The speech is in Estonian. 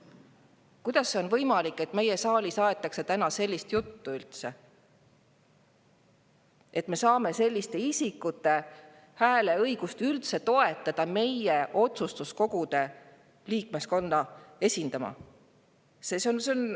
Kuidas on võimalik, et siin saalis aetakse täna sellist juttu, et me saame üldse toetada selliste isikute hääleõigust meie otsustuskogude liikmeskonna?